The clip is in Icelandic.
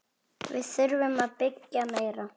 Við þurfum að byggja meira.